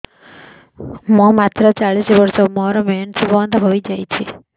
ମୁଁ ମାତ୍ର ଚାଳିଶ ବର୍ଷ ମୋର ମେନ୍ସ ବନ୍ଦ ହେଇଯାଇଛି